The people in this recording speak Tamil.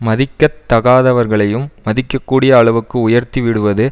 மதிக்க தகாதவர்களையும் மதிக்கக்கூடிய அளவுக்கு உயர்த்திவிடுவது